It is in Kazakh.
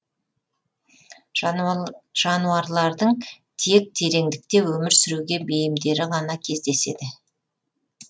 жануарлардың тек тереңдікте өмір сүруге бейімдері ғана кездеседі